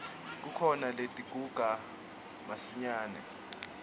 kukhona letiguga masinyane